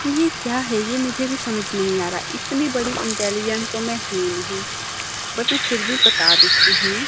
ये क्या है ये मुझे भी समझ नहीं आ रहा इतनी बड़ी इंटेलीजेंट तो मैं हूं नहीं बट मैं फिर भी बता देती हूं।